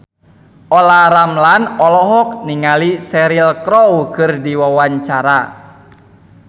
Olla Ramlan olohok ningali Cheryl Crow keur diwawancara